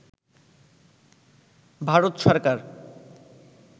Bharat Sarkar